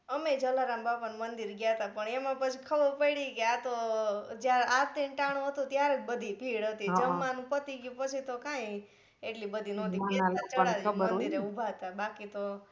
અમે એ જલારામ બાપા ના મંદિર એ ગયા તા પણ એમાં પછી ખબર પ્યડી કે આ તો જ્યાં આ એક ટાણું હતું ત્યારે જ બધી ભીડ હતી જમવાનું પતિ ગયું પછી તો કાંઈ એટલી બધી નોતી મંદિર એ ઉભા તા